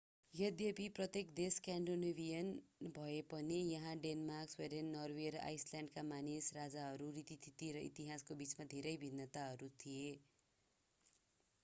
यद्यपि प्रत्येक देश स्कान्डिनेभियन भए पनि त्यहाँ डेनमार्क स्विडेन नर्वे र आइसल्यान्डका मानिस राजाहरू रीतिथिति र इतिहासका बीचमा धेरै भिन्नताहरू थिए